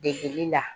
Degeli la